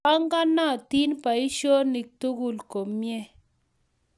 Panganatin poisyonik tukul komnyr